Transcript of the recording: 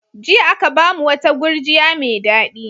Jiya aka ba mu wata gurjiya mai daɗi.